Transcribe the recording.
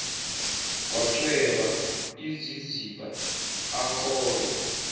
kwacweba iziziba akobe